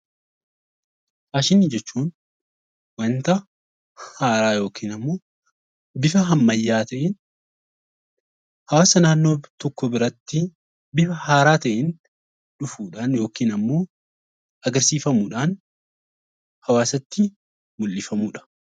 Faashinii jechuun wanta haaraa yookaan bifa ammayyaa ta'een hawaasa naannoo tokkoo biratti bifa haaraa ta'een dhufuudhaan yookaan immoo agarsiifamuudhaan hawaasatti mul'ifamudha.